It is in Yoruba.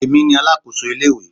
Èmi ni alákòso ilé ìwé.